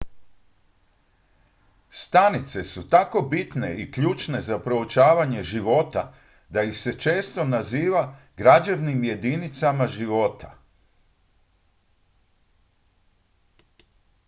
"stanice su tako bitne i ključne za proučavanje života da ih se često naziva "građevnim jedinicama života"".